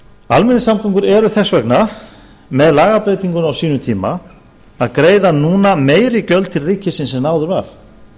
almenningssamgöngur eru þess vegna með lagabreytingunni á sínum tíma að greiða núna meiri gjöld til ríkisins en áður var